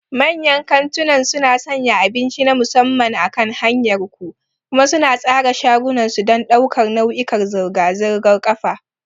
Manyan kantunan suna sanya abinci na musamman akan hanyar ku, kuma suna tsara shagunan su don ɗaukar nau'ikan zirga-zirgar ƙafa.